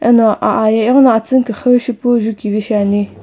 Eno aa ye ighono atsüni küxü shipu jukivi shiani.